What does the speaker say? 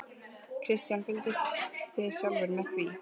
Kristján: Fylgist þið sjálfir með því?